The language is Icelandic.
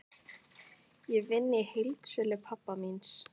Ég vinn í heildsölu pabba míns.